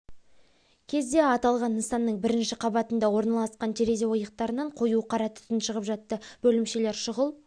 кезде аталған нысанның бірінші қабатында орналасқан терезе ойықтарынан қою қара түтін шығып жатты бөлімшелер шұғыл